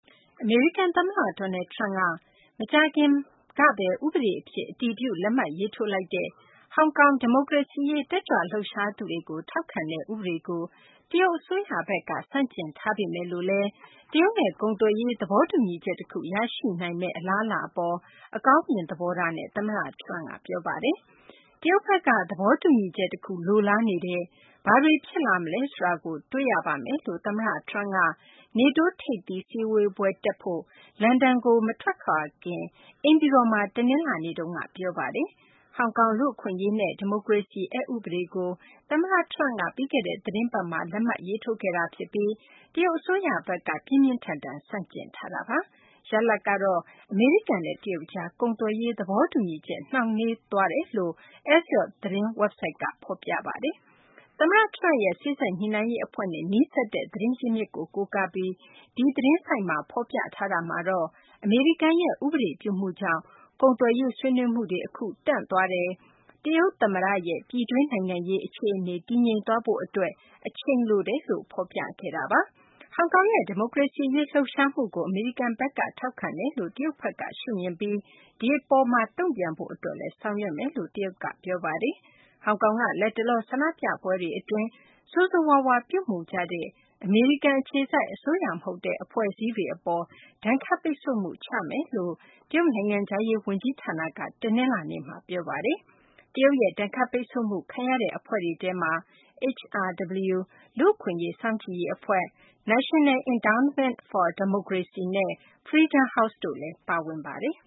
အမေရိကန် သမ္မတ Donald Trump က မကြာခင်က ဥပဒေ အဖြစ် အတည်ပြု လက်မှတ်ရေးထိုးလိုက်တဲ့ ဟောင်ကောင်က ဒီမိုကရေစီရေး တက်ကြွလှုပ်ရှားသူတွေကို ထောက်ခံတဲ့ ဥပဒေကို တရုတ်အစိုးရဘက်က ဆန့်ကျင်ထားပေမယ်လို့လည်း တရုတ်နဲ့ ကုန်သွယ်ရေး သဘောတူညီချက် တခု ရရှိနိုင်မယ့် အပေါ် အကောင်းမြင် သဘောထားနဲ့ သမ္မတ Trump က ပြောဆိုပါတယ်။ တရုတ်ဘက်က သဘောတူညီချက် တခု လိုလားနေပါတယ်။ ဘာတွေ ဖြစ်လာမလဲ ဆိုတာကို တွေ့ရပါမယ်လို့ သမ္မတ Trump က NATO ထိပ်သီး စည်းဝေးပွဲ တက်ဖို့ လန်ဒန်ကို မထွက်ခွာခင် အိမ်ဖြူတော်မှာ တနလာၤနေ့မှာ ပြောဆိုပါတယ်။ ဟောင်ကောင် လူ့အခွင့်အရေးနဲ့ ဒီမိုကရေစီ အက် ဥပဒေကို သမ္မတ Trump က ပြီးခဲ့တဲ့ သီတင်းပတ်မှာ လက်မှတ်ရေးထိုး ခဲ့တာ ဖြစ်ပြီး တရုတ်အစိုးရ ဘက်က ပြင်းပြင်းထန်ထန် ဆန့်ကျင်ထားတာပါ။ ရလဒ်ကတော့ အမေရိကန်နဲ့ တရုတ်ကြား ကုန်သွယ်ရေး သဘောတူညီချက် နှောင့်နှေးသွားတယ်လို့ Axios သတင်းဝဘ်ဆိုက်က ဖော်ပြပါတယ်။ သမ္မတ Trump ရဲ့ စေ့စပ်ညှိနှိုင်းရေး အဖွဲ့နဲ့ နီးစပ်တဲ့ သတင်းရင်းမြစ်ကို ကိုးကားပြီး Axios သတင်းဆိုက်က ဖော်ပြတာမှာတော့ အမေရိကန်ရဲ့ ဥပဒေပြုမှုကြောင့် ကုန်သွယ်ရေး ဆွေးနွေးမှုတွေ အခု ရပ်တန့်သွားတယ်၊ တရုတ် သမ္မတရဲ့ ပြည်တွင်း နိုင်ငံရေး အခြေအနေ တည်ငြိမ်သွားရေး အတွက် အချိန်လိုတယ်လို့ ဖော်ပြခဲ့တာပါ။ ဟောင်ကောင်ရဲ့ ဒီမိုကရေစီ အရေး လှုပ်ရှားမှုကို အမေရိကန်ဘက်က ထောက်ခံတယ်လို့ တရုတ်ဘက်က ရှုမြင်ပြီး ဒီအပေါ်မှာ တုံ့ပြန်ဖို့ အတွက် လည်း ဆောင်ရွက်သွားမယ်လို့လည်း တရုတ်ဘက်က ပြောဆိုထားပါတယ်။ ဟောင်ကောင်က လက်တလော ဆန္ဒပြပွဲတွေ အတွင်း ဆိုးဆိုးရွားရွား ပြုမူကြတဲ့ အမေရိကန် အခြေစိုက် အစိုးရ မဟုတ်တဲ့ အဖွဲ့အစည်းတွေ အပေါ် ဒဏ်ခတ်ပိတ်ဆို့မှု ချမှတ်မယ်လို့ တရုတ် နိုင်ငံခြားရေး ဝန်ကြီး ဌာနက တနလာၤနေ့မှာ ပြောဆိုထားပါတယ်။ တရုတ်ရဲ့ ဒဏ်ခတ်ပိတ်ဆို့မှု ဒဏ် ခံရတဲ့ အဖွဲ့တွေထဲမှာ HRW လူ့အခွင့်အရေး စောင့်ကြည့်ရေး အဖွဲ့၊ National Endowment for Democracy နဲ့ Freedom House တို့လည်း ပါဝင်ပါတယ်